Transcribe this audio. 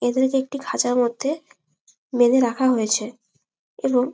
এদেরকে একটি খাঁচার মধ্যে বেধে রাখা হয়েছে এবং--